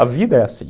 A vida é assim.